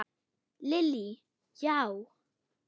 Lillý: Já?